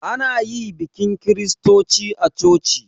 Ana yi bikin kiristoci a coci